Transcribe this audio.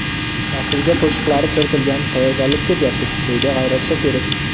Dasturga qo‘shiqlari kiritilgan, tayyorgarlik ketyapti”, deydi G‘ayrat Shokirov.